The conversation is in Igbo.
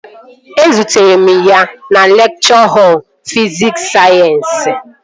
Ezutere m ya na lekchọ họl fisikul sayensị